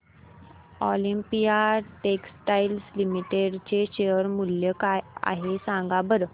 Olympia textiles limited चे share मूल्य काय आहे सांगा बरं